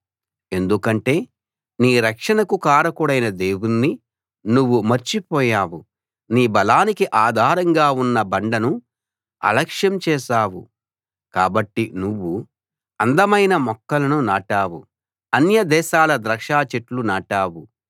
ఎందుకంటే నీ రక్షణకు కారకుడైన దేవుణ్ణి నువ్వు మర్చి పోయావు నీ బలానికి ఆధారంగా ఉన్న బండను అలక్ష్యం చేశావు కాబట్టి నువ్వు అందమైన మొక్కలను నాటావు అన్య దేశాల ద్రాక్ష చెట్లు నాటావు